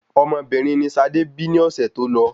Ọmọbìnrin ni Sade bí ni ọ̀sẹ̀ tó lọ